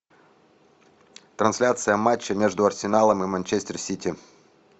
трансляция матча между арсеналом и манчестер сити